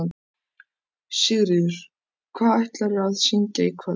Sigríður: Hvað ætlarðu að syngja í kvöld?